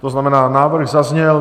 To znamená, návrh zazněl.